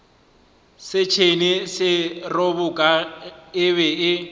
setšhene seroboka e be e